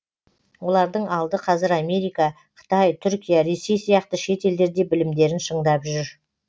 олардың алды қазір америка қытай түркия ресей сияқты шет елдерде білімдерін шыңдап жүр